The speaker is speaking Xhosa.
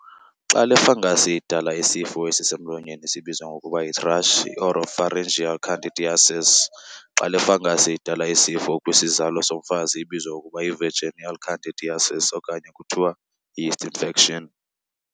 Xa le fungus idala isifo esisemlonyeni sibizwa ngokuba yi-thrush, i-oropharyngeal candidiasis. Xa le fungus idala isifo kwisizalo somfazi ibizwa ngokuba yi-vaginal candidiasis okanye kuthiwa nje yi-'yeast infection'.